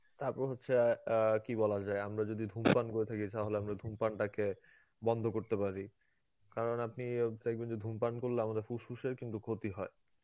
তারপর হচ্ছে অ্যাঁ আ কি বলা যায়, আমরা যদি ধুমপান করে থাকি তাহলে আমরা ধুমপানটাকে বন্ধ করতে পারি, কারণ আপনি ইয়ে দেখবেন যে ধুমপান করলে আমাদের ফুসফুসের কিন্তু ক্ষতি হয়.